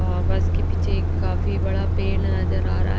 और बस के पीछे एक काफी बड़ा पेड़ नजर आ रहा हैं।